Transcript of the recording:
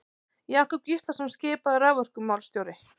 Jakob Gíslason skipaður raforkumálastjóri.